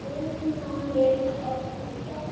Ruth okkar er horfin.